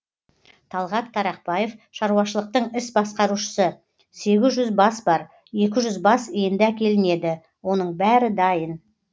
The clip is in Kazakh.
талғат тарақбаев шаруашылықтың іс басқарушысы сегіз жүз бас бар екі жүз бас енді әкелінеді оның бәрі дайын